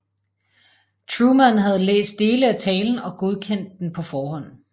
Truman havde læst dele af talen og godkendt den på forhånd